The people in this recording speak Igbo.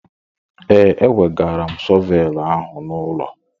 Ee, ewegara m shọvelụ ahụ n'ụlọ.